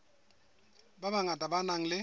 ba bangata ba nang le